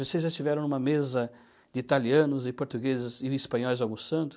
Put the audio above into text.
Vocês já estiveram em uma mesa de italianos e portugueses e espanhóis almoçando?